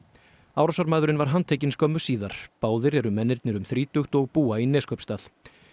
árásarmaðurinn var handtekinn skömmu síðar báðir eru mennirnir um þrítugt og búa í Neskaupstað